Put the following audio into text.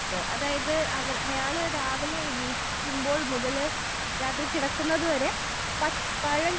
അതായത് അവർ അയാള് രാവിലെ എണീക്കുമ്പോൾ മുതല് രാത്രി കിടക്കുന്നത് വരെ പ പഴ